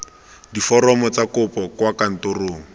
diforomo tsa kopo kwa kantorong